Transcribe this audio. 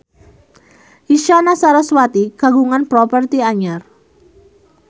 Isyana Sarasvati kagungan properti anyar